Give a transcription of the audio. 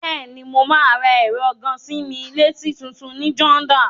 Bẹ́ẹ̀ni, mo máa ra ẹ̀rọ gàa-sí-mí-létí tutun ní Jordan.